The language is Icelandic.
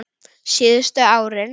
Síðustu árin